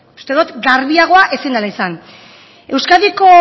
uste dut garbiagoa ezin dela izan euskadiko